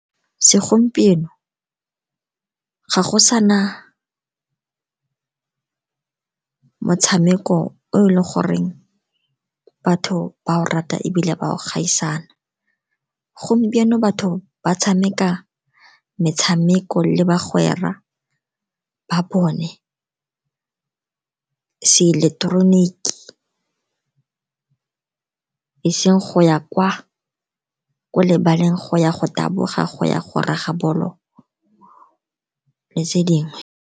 Segompieno ga go sa na motshameko o e leng gore batho ba o rata, ebile ba o gaisana. Gompieno batho ba tshameka metshameko le bagwera ba bone seileketeroniki, e seng go ya kwa ko lebaleng, go ya go taboga, go ya go raga bolo le tse dingwe.